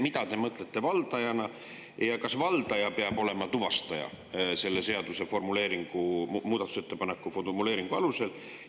Mida te valdajana ja kas valdaja peab olema tuvastaja selle seaduse formuleeringu, muudatusettepaneku formuleeringu alusel?